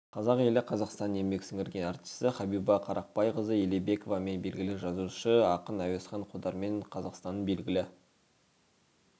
қазақ елі қазақстанның еңбек сіңірген әртісі хабиба қарақбайқызы елебековамен белгілі жазушысы ақын әуезхан қодармен қазақстанның белгілі